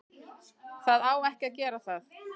Það á ekki að gera það.